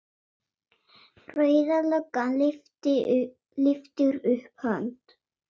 Rauða löggan lyftir upp hönd.